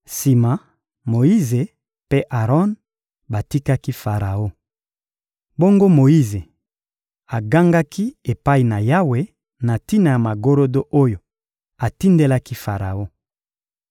Sima, Moyize mpe Aron batikaki Faraon. Bongo Moyize agangaki epai na Yawe na tina na magorodo oyo atindelaki Faraon.